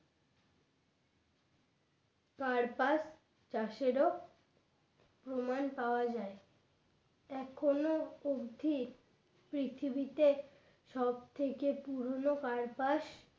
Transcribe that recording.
কার্পাস চাষের ও প্রমাণ পাওয়া যায় এখনো অবধি পৃথিবীতে সবথেকে পুরনো কার্পাস